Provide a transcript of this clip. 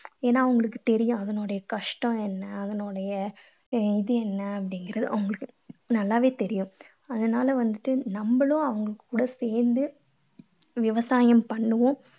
ஏன்னா அவங்களுக்கு தெரியும் அதனுடைய கஷ்டம் என்ன அதனுடைய இது என்ன அப்படீங்கறது அவங்களுக்கு நல்லாவே தெரியும். அதனால வந்துட்டு நம்மளும் அவங்க கூட சேர்ந்து விவசாயம் பண்ணுவோம்.